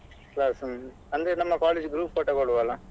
Last hmm ಅಂದ್ರೆ ನಮ್ಮ college group photo ಕೊಡುವ ಅಲ್ಲಾ.